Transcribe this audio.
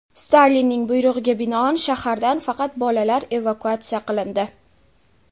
Stalinning buyrug‘iga binoan, shahardan faqat bolalar evakuatsiya qilindi.